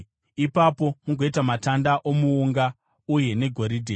Ipapo mugoita matanda omuunga uye negoridhe.